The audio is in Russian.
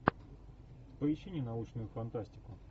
поищи ненаучную фантастику